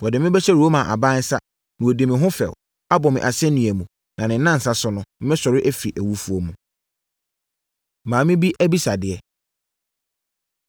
Wɔde me bɛhyɛ Roma aban nsa, na wɔadi me ho fɛw, abɔ me asɛnnua mu, na ne nnansa so no, mɛsɔre afiri awufoɔ mu.” Maame Bi Abisadeɛ